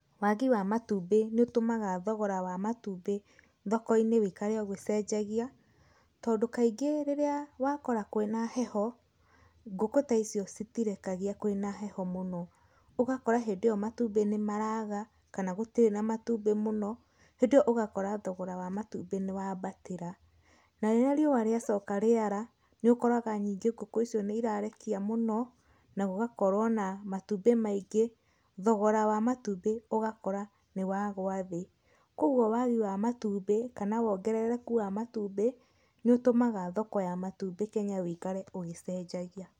Wagi wa matumbĩ nĩ ũtũmaga thogora wa matumbĩ thoko-inĩ wĩkare ũgĩcenjagia, tondũ kaingĩ rĩrĩa wakora kwĩna heho, ngũkũ ta icio citĩrekagia kwĩna heho mũno, ũgakora hĩndĩ ĩyo matumbĩ nĩ maraga kana gũtirĩ na matumbĩ mũno, hĩndĩ iyo ũgakora thogora wa matumbĩ nĩ wambatĩra. Na rĩrĩa riũa rĩacoka rĩara nĩũ koraga ningĩ ngũkũ icio nĩ irarekia mũno na gũgakorwo na matumbĩ maingĩ thogora wa matumbĩ ũgakora nĩ wagua thĩĩ, koguo wagi wa matumbĩ kana wongerereku wa matumbĩ nĩ ũtũmaga thoko ya matumbĩ Kenya ũikare ũgĩcenjagia.